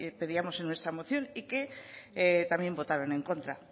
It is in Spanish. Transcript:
pedíamos en nuestra moción y que también votaron en contra